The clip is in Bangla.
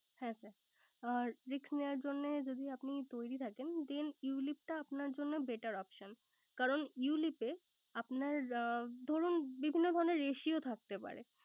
হ্যাঁ sir আর risk নেওয়ার জন্য যদি আপনি তৈরি থাকেন। Then ulip টা আপনার জন্য better optioin কারণ, ulip এ আপনার ধরুন বিভিন্ন ধরনের ratio থাকতে পারে